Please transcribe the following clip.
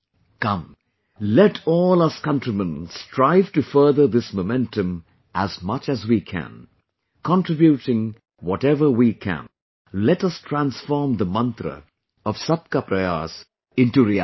Come, let all us countrymen strive to further this momentum as much as we can...contributing whatever we can...let us transform the mantra of 'Sabka Prayas' into reality